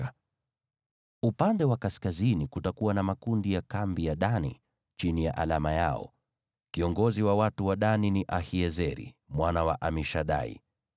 Upande wa kaskazini kutakuwa na makundi ya kambi ya Dani, chini ya alama yao. Kiongozi wa watu wa Dani ni Ahiezeri mwana wa Amishadai.